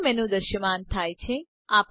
colour menu દ્રશ્યમાન થાય છે